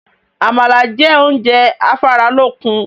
Àmàlà jẹ́ oúnjẹ afáralókun